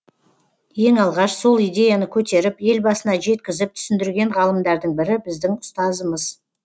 ең алғаш сол идеяны көтеріп елбасына жеткізіп түсіндірген ғалымдардың бірі біздің ұстазымыз